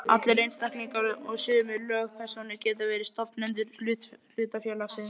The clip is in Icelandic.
Allir einstaklingar og sumar lögpersónur geta verið stofnendur hlutafélags.